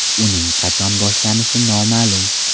Uning qachon boshlanishi noma’lum.